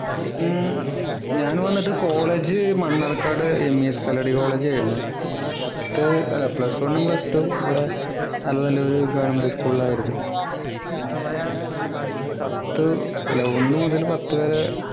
ഉം ഞാൻ വന്നിട്ട് college Mannarkkad MES Kalladi college ആയിരുന്നു പിന്നെ പത്ത് അല്ല plus one ഉം plus two ഉം ഇവിടെ അതുപോലെ ഒരു Government school ലായിരുന്നു പിന്നെ പത്തു അല്ല ഒന്ന് മുതൽ പത്തു വരെ